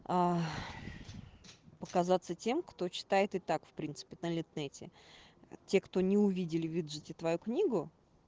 а показаться тем кто читает и так в принципе на литнете те кто не увидели в виджете твою книгу